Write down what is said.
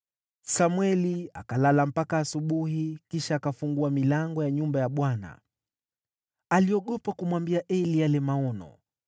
Samweli akalala mpaka asubuhi, kisha akafungua milango ya nyumba ya Bwana . Aliogopa kumwambia Eli yale maono,